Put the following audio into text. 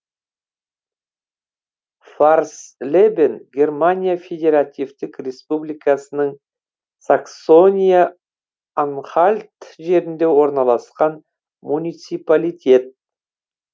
фарслебен германия федеративтік республикасының саксония анхальт жерінде орналасқан муниципалитет